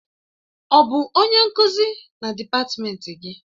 Ọ bụ onye nkuzi na dịpatmenti gị?